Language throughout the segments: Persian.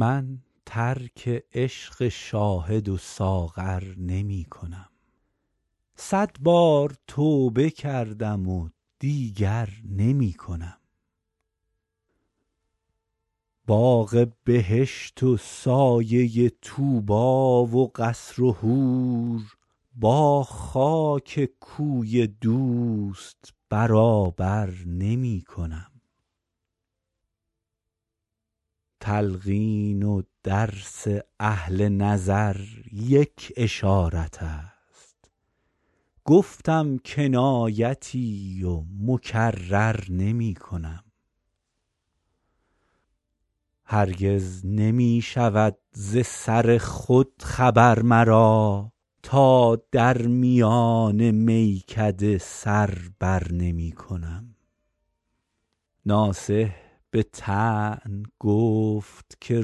من ترک عشق شاهد و ساغر نمی کنم صد بار توبه کردم و دیگر نمی کنم باغ بهشت و سایه طوبی و قصر و حور با خاک کوی دوست برابر نمی کنم تلقین و درس اهل نظر یک اشارت است گفتم کنایتی و مکرر نمی کنم هرگز نمی شود ز سر خود خبر مرا تا در میان میکده سر بر نمی کنم ناصح به طعن گفت که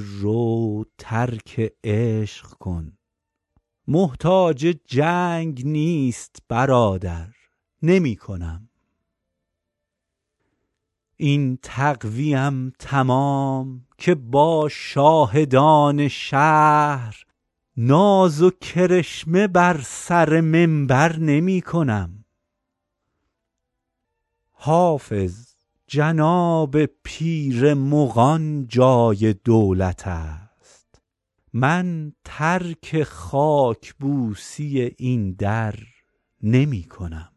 رو ترک عشق کن محتاج جنگ نیست برادر نمی کنم این تقوی ام تمام که با شاهدان شهر ناز و کرشمه بر سر منبر نمی کنم حافظ جناب پیر مغان جای دولت است من ترک خاک بوسی این در نمی کنم